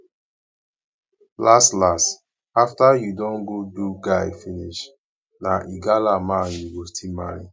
las las after you don do guy finish na igala man you go still marry